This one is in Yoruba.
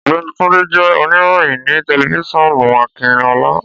Ọ̀gbẹ́ni Túndé jẹ́ òníròyìn ni tẹlifiṣionu Akinọlá